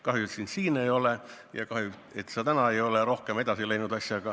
Kahju, et sind siin saalis ei ole, ja kahju, et sa asjaga rohkem edasi pole läinud.